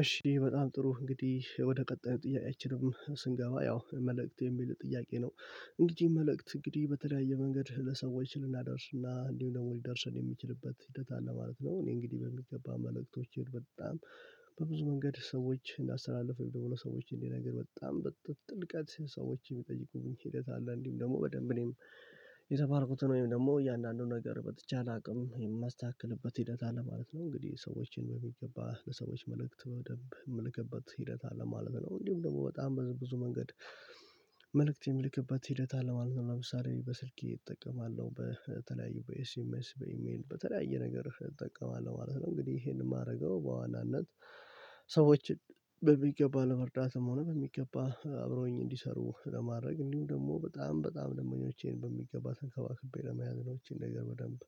እሺ በጣም ጥሩ እንግዲህ ወደ ቀጣይ ጥያቄችንም ስንገባ ያው መልእክት የሚል ጥያቄ ነው? እንግዲህ መልእክት እንግዲህ በተለያየ መንገድ ለሰዎች ልናደርስ እና እንዲሁ ደግሞ ሊደርስ የሚችልበት ሂደት አለ ማለት ነው። እኔ እንግዲህ በሚገባ መልእክቶችን በጣም በብዙ መንገድ ሰዎች እንዳሳላልፍ ወይም ደግሞ ለሰዎች እንዲህ ነገር በጣም በጥልቀት ሰዎች የሚጠይቁኝ ሂደት አለ እንዲሁም ደግሞ በደንብ እኔም የተባልኩትን ወይም ደግሞ እያንዳንዱን ነገር በተቻለ አቅም የማስተካክልበት ሂደት አለ ማለት ነው። እንግዲህ ሰዎችን በሚገባ ለሰዎች መልእክት በደንብ እምልክበት ሂደት አለ ማለት ነው እንዲሁም ደግሞ በጣም በዝም ብዙ መንገድ። መልእክት የሚልክበት ሂደት አለ ማለት ለምሳሌ በስልኬ እጠቀማለሁ በተለያዩ በኤስኤምኤስ በኢሜል በተለያየ ነገር እጠቀማለሁ ማለት ነው። እንግዲህ ይሄንን የማደርገው በዋናነት ሰዎች በሚገባ ነው ለመርዳትም ሆነ በሚገባ አብሮኝ እንዲሰሩ ለማድረግ እንዲሁ ደግሞ በጣም በጣም ደመኞቼን በሚገባ ተንከባክቤ ለመያዝ ነው። ይቺን ነገር በደንብ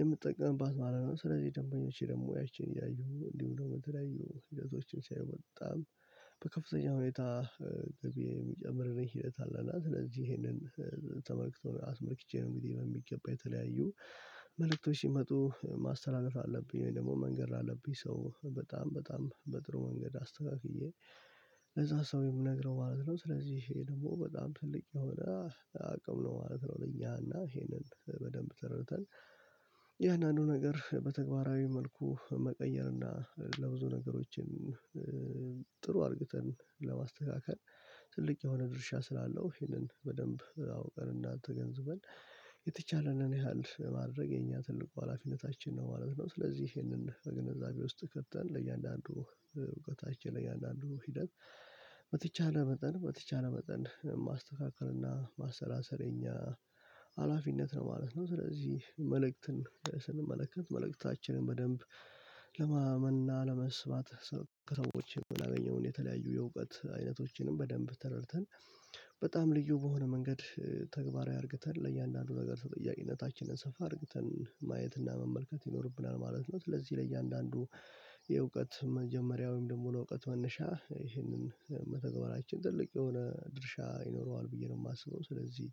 የምትጠቀምባት ማለት ነው። ስለዚህ ደንበኞቼ ደግሞ ያቺን ያዩ እንዲሁ ደሞ የተለያዩ ሂደቶችም ሲያዩ በጣም በከፍተኛ ሁኔታ ገቢ የሚጨምልኝር ሂደት አለ እና ስለዚህ ይሄንን ተመልክቶ አስመርቼ ነው። እንግዲህ በሚገባ የተለያዩ መልእክቶች ሲመጡ ማስተላለፍ አለብኝ ወይም ደግሞ መንገር ላለብኝ ሰው በጣም በጣም በጥሩ መንገድ አስተካክዬ ለዛ ሰው የምነግረው ማለት ነው። ስለዚህ ይሄ ደግሞ በጣም ትልቅ የሆነ አቅም ነው ማለት ነው። ለኛ እና ይሄንን በደንብ ተረድተን እያንዳንዱ ነገር በተግባራዊ መልኩ መቀየር እና ለብዙ ነገሮችን ጥሩ አድርግተን ለማስተካከል ትልቅ የሆነ ድርሻ ስላለው ይሄንን በደንብ አውቀን እና ተገንዝበን የተቻለንን ያህል ማድረግ የኛ ትልቁ ሀላፊነታችን ነው ማለት ነው። ስለዚህ ይሄንን በግንዛቤ ውስጥ ከተን ለእያንዳንዱ እውቀታችን ለእያንዳንዱ ሂደት በተቻለ መጠን በተቻለ መጠን ማስተካከል እና ማሰላሰል የኛ ሀላፊነት ነው ማለት ነው። ስለዚህ መልእክትን ስንመለከት መልእክታችንን በደንብ ለማመና ለመስባት ከሰዎች የምናገኘውን የተለያዩ የእውቀት አይነቶችንም በደንብ ተረድተን በጣም ልዩ በሆነ መንገድ ተግባራዊ አድርግተን ለእያንዳንዱ ነገር ተጠያቄነታችንን ሰፋ አድርግተን ማየትና መመልከት ይኖርብናል ማለት ነው። ስዚህ ለእያንዳንዱ የእውቀት መጀመሪያውም ወይም ደግሞ ለእውቀት መነሻ ይሄንን መተግበራችን ትልቅ የሆነ ድርሻ ይኖረዋል ብዬ ነው የማስበው ስለዚህ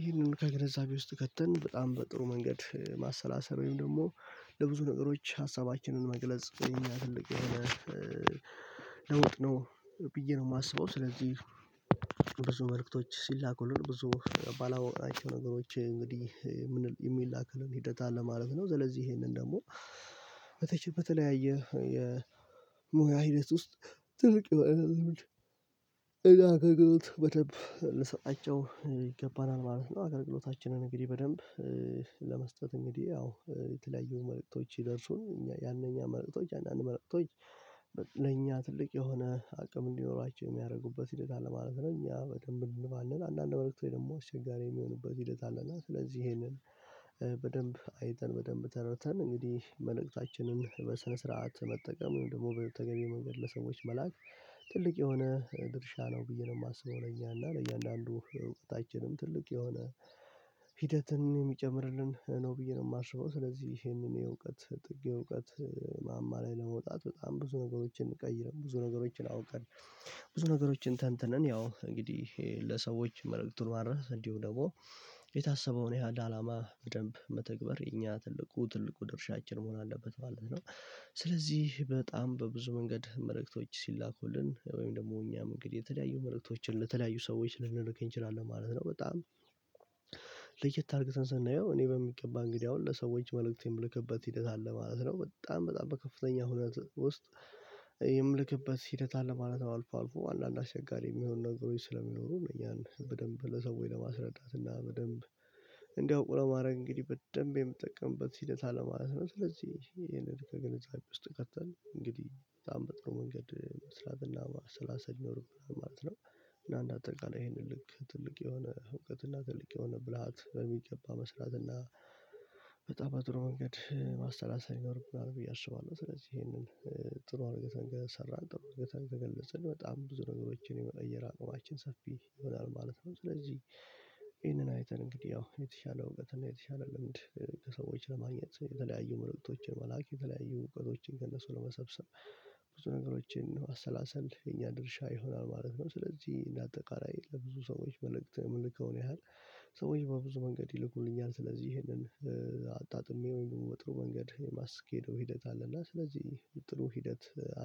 ይህንን ከግንዛቤ ውስጥ ከትን በጣም በጥሩ መንገድ ማሰላሰል ወይም ደግሞ ለብዙ ነገሮች ሀሳባችንን መግለጽ የኛ ትልቅ የሆነ ለውጥ ነው ብዬ ነው የማስበው። ስለዚህ ብዙ መልእክቶች ሲላኩልን ብዙ ባላወቅናቸው ነገሮች እንግዲህ የሚላክልን ሂደት አለ ማለት ነው። ስለዚህ ይሄንን ደግሞ በተቸ በተለያየ የሙያ ሂደት ውስጥ ትልቅ የሆነ እገልግሎት በደንብ ልንሰጣቸው ይገባናል ማለት ነው። አገልግሎታችንን እንግዲህ በደንብ ለመስጠት እንግዲህ ያው የተለያዩ መልእክቶች ሲደርሱን እኛ ያንኛ መልእክቶች አንዳንድ መልእክቶች ለእኛ ትልቅ የሆነ አቅም እንዲኖራቸው የሚያደርጉበት ሂደት አለ ማለት ነው። እኛ በደንብ እንባለን አንዳንድ መልእክት ወይ ደግሞ አስቸጋሪ የሚሆኑበት ሂደት አለ እና ስለዚህ ይሄንን በደንብ አይተን በደንብ ተረድተን እንግዲህ መልእክታችንን በስነ ስርዓት መጠቀም ወይም ደግሞ በተገቢው መንገድ ለሰዎች መላክ ትልቅ የሆነ ድርሻ ነው ብዬ ነው የማስበው። ለእኛ እና ለእያንዳንዱ እውቀታችንም ትልቅ የሆነ ሂደትን የሚጨምርልን ነው ብዬ ነው የማስበው። ስለዚህ ይሄንን የእውቀት ጥግ የእውቀት ማማ ላይ ለመውጣት በጣም ብዙ ነገሮችን ቀይረን ብዙ ነገሮችን አውቀን ብዙ ነገሮችን ተንትነን ያው እንግዲህ ለሰዎች መልእክቱ ለማድረስ እንዲሁም ደግሞ የታሰበውን ያህል አላማ በደንብ መተግበር እኛ ትልቁ ትልቁ ድርሻችን መሆን አለበት ማለት ነው። ስለዚህ በጣም በብዙ መንገድ መልእክቶች ሲላኩልን ወይም ደግሞ እኛም እንግዲህ የተለያዩ መልእክቶችን ለተለያዩ ሰዎች ልንልክ እንችላለን ማለት ነው። በጣም ለየት አርግተን ስናየው እኔ በሚገባ እንግዲህ አሁን ለሰዎች መልእክት የምልክበት ሂደት አለ ማለት ነው። በጣም በጣም በከፍተኛ ሁነት ውስጥ የምልክበት ሂደት አለ ማለት አልፎ አልፎ አንዳንድ አሸጋሪ የሚሆን ነገሮች ስለሚኖሩ ያን በደንብ ለሰዎች ለማስረዳት እና በደንብ እንዲያውቁ ለማድረግ እንግዲህ በደንብ የምጠቀምበት ሂደት አለ ማለት ነው። ስለዚህ ይሄንን ከግንዛቤ ውስጥ ከተንል እንግዲህ በጣም በጥሩ መንገድ መስራትና ማስላሰል ይኖርብናል ማለት ነው። እና እንደ አጠቃላይ ይሄንን ልክ ትልቅ የሆነ እውቀትና ትልቅ የሆነ ብልሃት በሚገባ መስራትና በጣም በጥሩ መንገድ ማሰላሰል ይኖርብናል ብየ አስባለሁ። ስለዚህ ይሄንን ጥሩ እርገተን ከሰራን ጥሩ እርገተን ከገለጽን በጣም ብዙ ነገሮችን የመቀየር አቅማችን ሰፊ ይሆናል ማለት ነው። ስለዚህ ይሄንን አይተን እንግዲህ ያው የተሻለ እውቀት እና የተሻለ ልምድ ከሰዎች ለማግኘት የተለያዩ መልእክቶችን መላክ የተለያዩ እውቀቶችን ከእነሱ ለመሰብሰብ ብዙ ነገሮችን ማሰላሰል የኛ ድርሻ ይሆናል ማለት ነው። ስለዚህ እንደ አጠቃላይ ለብዙ ሰዎች መልእክት የምልከውን ያህል ሰዎች በብዙ መንገድ ይልኩልኛል ስለዚህ ይሄንን አጣጥሜው በጥሩ መንገድ የማስኬደው ሂደት አለና። ስለዚህ ጥሩ ሂደት